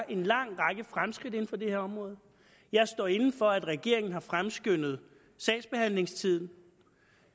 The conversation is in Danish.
en lang række fremskridt inden for det her område jeg står inde for at regeringen har fremskyndet sagsbehandlingstiden og